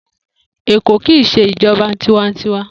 Eko ki i se ijoba tiwantiwa.